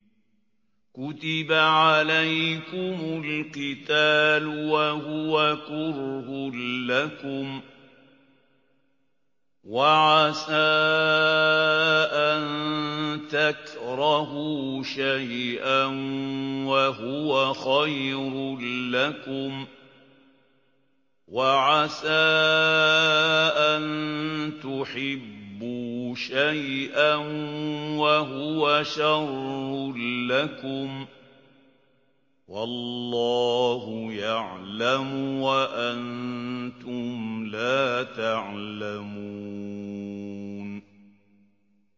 كُتِبَ عَلَيْكُمُ الْقِتَالُ وَهُوَ كُرْهٌ لَّكُمْ ۖ وَعَسَىٰ أَن تَكْرَهُوا شَيْئًا وَهُوَ خَيْرٌ لَّكُمْ ۖ وَعَسَىٰ أَن تُحِبُّوا شَيْئًا وَهُوَ شَرٌّ لَّكُمْ ۗ وَاللَّهُ يَعْلَمُ وَأَنتُمْ لَا تَعْلَمُونَ